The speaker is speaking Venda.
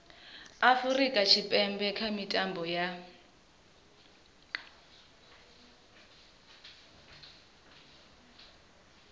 afurika tshipembe kha mitambo ya